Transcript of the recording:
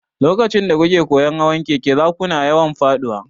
Lokacin da kuke koyon hawan keke, za kuna yawan faɗuwa.